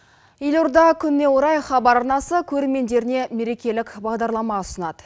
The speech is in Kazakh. елорда күніне орай хабар арнасы көрермендеріне мерекелік бағдарлама ұсынады